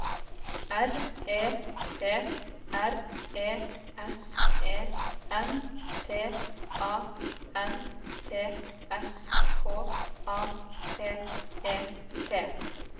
R E P R E S E N T A N T S K A P E T